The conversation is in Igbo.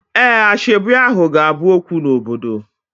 Ee, asoebi ahu ga-abu okwu n'obodo